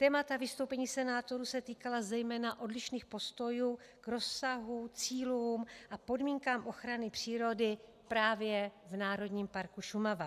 Témata vystoupení senátorů se týkala zejména odlišných postojů k rozsahu, cílům a podmínkám ochrany přírody právě v Národním parku Šumava.